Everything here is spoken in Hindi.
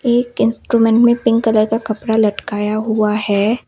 एक इंस्ट्रूमेंट में पिंक कलर का कपड़ा लटकाया हुआ है।